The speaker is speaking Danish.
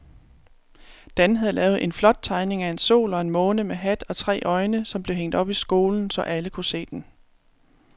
Dan havde lavet en flot tegning af en sol og en måne med hat og tre øjne, som blev hængt op i skolen, så alle kunne se den.